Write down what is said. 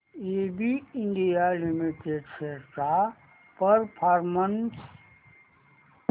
ABB India limited shares चा performance